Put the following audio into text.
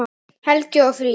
Helgi og Fríða.